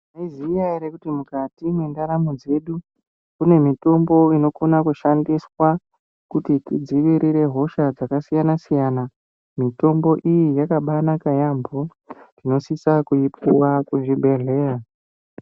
Maizviziya ere kuti mukati mundaramo medu kune mitombo inokona shandiswa kuti tidzivirire hosha dzakasiyana siyana mitombo iyi yakabainaka yambo tinosisa kuipuwa kuzvibhehleya.